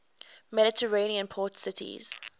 mediterranean port cities